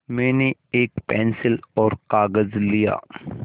मैंने एक पेन्सिल और कागज़ लिया